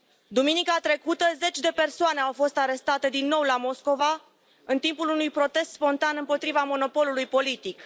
Duminica trecută, zeci de persoane au fost arestate din nou la Moscova în timpul unui protest spontan împotriva monopolului politic.